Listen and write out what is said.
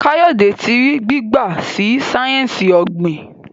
Kayode tí rí gbigba sí sáyẹnsì ogbin.